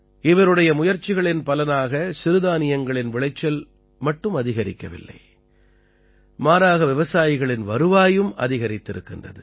இவருடைய முயற்சிகளின் பலனாக சிறுதானியங்களின் விளைச்சல் மட்டும் அதிகரிக்கவில்லை மாறாக விவசாயிகளின் வருவாயும் அதிகரித்திருக்கின்றது